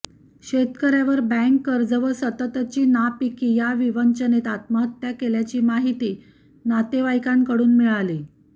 शेतकऱ्यावर बॅक कर्ज व सततची नापीकी या विवंचनेत आत्महत्या केल्याची माहीती नातेवाईकांकडून मिळाली